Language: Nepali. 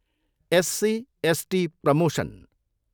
SC, ST promotion.